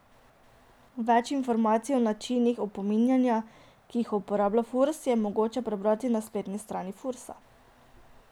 Več informacij o načinih opominjanja, ki jih uporablja Furs, je mogoče prebrati na spletni strani Fursa.